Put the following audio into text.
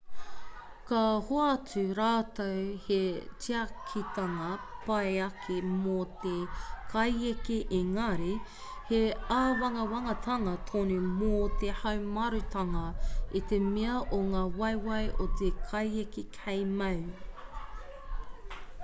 ka hoatu rātou he tiakitanga pai ake mō te kaieke ēngari he āwangawangatanga tonu mō te haumarutanga i te mea o ngā waewae o te kaieke kei mau